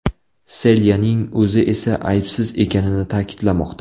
Selyaning o‘zi esa aybsiz ekanini ta’kidlamoqda.